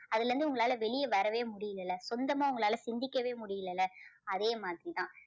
அதுல இருந்து உங்களால் வெளியே வரவே முடியலல்ல. சொந்தமா உங்களால சிந்திக்கவே முடியலல்ல. அதே மாதிரி தான்.